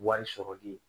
Wari sɔrɔli